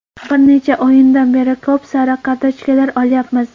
Bir necha o‘yindan beri ko‘p sariq kartochkalar olyapmiz.